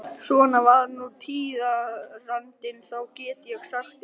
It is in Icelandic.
Svona var nú tíðarandinn þá, get ég sagt ykkur.